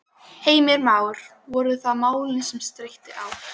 Heimir Már: Voru það málin sem steytti á?